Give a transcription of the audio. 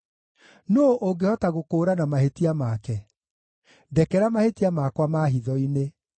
Nũũ ũngĩhota gũkũũrana mahĩtia make? Ndekera mahĩtia makwa ma hitho-inĩ.